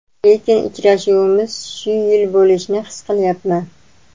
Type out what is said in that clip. Lekin uchrashuvimiz shu yil bo‘lishini his qilyapman.